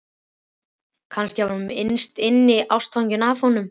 Kannski var hún innst inni ástfangin af honum.